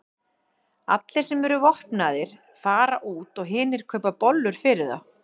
Allir sem eru vopnaðir fara út og hinir kaupa bollur fyrir þá.